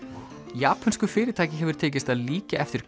japönsku fyrirtæki hefur tekist að líkja eftir